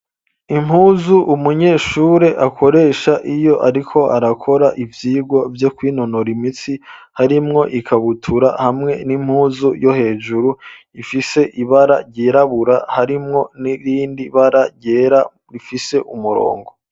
Impuzu umunyeshure akoresha iyo ariko arakora ivyigwo vyo kwinonora imitsi harimwo ikabutura hamwe n'impuzu yo hejuru ifise ibara ryirabura harimwo n'irindi bara ryera rifise umurongo.